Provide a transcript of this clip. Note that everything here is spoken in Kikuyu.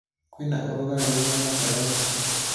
kwĩna ũrũgarĩ ũĩgana atĩa thaa ĩcĩ